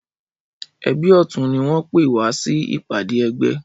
Ẹbí ọtún ni wọn pè wá sí ìpàdé ẹgbẹ́